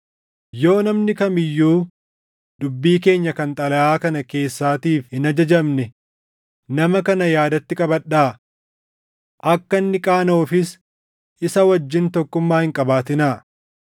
Yoo namni kam iyyuu dubbii keenya kan xalayaa kana keessaatiif hin ajajamne, nama kana yaadatti qabadhaa. Akka inni qaanaʼuufis isa wajjin tokkummaa hin qabaatinaa.